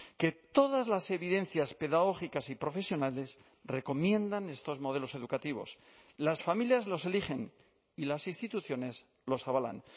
que todas las evidencias pedagógicas y profesionales recomiendan estos modelos educativos las familias los eligen y las instituciones los avalan